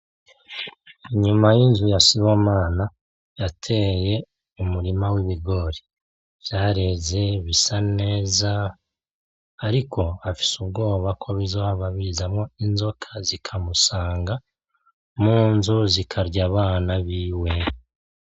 Inyuma y'inzu ya Sibomana yateye umurima w'ibigori, vyareze bisa neza ariko afise ubwoba ko bizohava bizamwo inzoka zikamusanga mu nzu zikarya abana biwe.